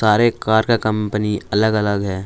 हर एक कार का कंपनी अलग अलग है।